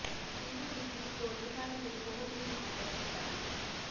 ਇਹ ਵਿਧੀ ਕੋਲੀਫਾਰਮ ਲਈ ਬਹੁਤ ਹੀ ਲਾਭਦਾਇਕ ਹੁੰਦਾ ਹੈ